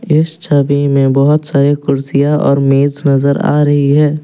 इस छवि में बहोत सारी कुर्सियां और मेज नजर आ रही है।